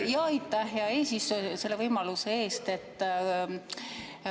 Aitäh, hea eesistuja, selle võimaluse eest!